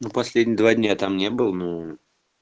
ну последние два дня там не был ну